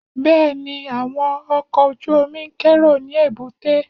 Bẹ́ẹ̀ni, àwọn ọkọ̀ ojú-omi ń kérò ní èbúté